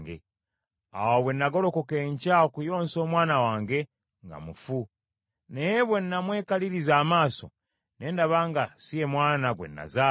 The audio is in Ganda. Awo bwe nagolokoka enkya okuyoonsa omwana wange, nga mufu. Naye bwe n’amwekaliriza amaaso, ne ndaba nga si ye mwana gwe nazaala.”